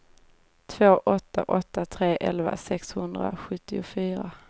två åtta åtta tre elva sexhundrasjuttiofyra